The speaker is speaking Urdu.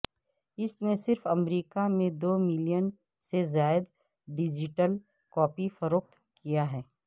اس نے صرف امریکہ میں دو ملین سے زائد ڈیجیٹل کاپی فروخت کیا ہے